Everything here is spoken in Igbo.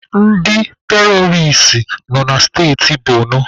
Ndị teroris nọ na steti Bonu.